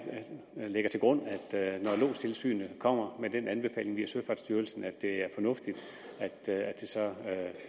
lægger til grund at når lodstilsynet kommer med den anbefaling via søfartsstyrelsen er det er fornuftigt